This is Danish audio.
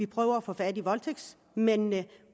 prøve at få fat i voldtægtsmændene